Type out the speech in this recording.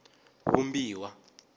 vumbiwa